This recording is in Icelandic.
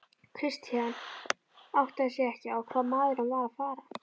Christian áttaði sig ekki á hvað maðurinn var að fara.